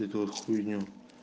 эту вот хуйню